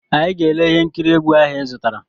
Anyị ga-ele ihe nkiri egwu ahụ ịzụtara.